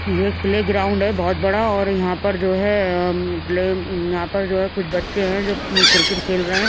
यह एक प्लेग्राउंड है बहुत बड़ा और यहाँ पर जो है प्ले यहाँ पर जो है कुछ बच्चे हैं जो क्रिकेट खेल रहे हैं।